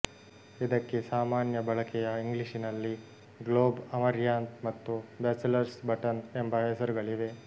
ಇದಕ್ಕೆ ಸಾಮಾನ್ಯ ಬಳಕೆಯ ಇಂಗ್ಲಿಷಿನಲ್ಲಿ ಗ್ಲೋಬ್ ಅಮರ್ಯಾಂತ್ ಮತ್ತು ಬ್ಯಾಚಲರ್ಸ್ ಬಟನ್ ಎಂಬ ಹೆಸರುಗಳಿವೆ